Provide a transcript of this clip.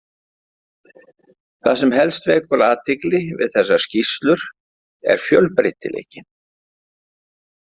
Það sem helst vekur athygli við þessar skýrslur er fjölbreytileikinn.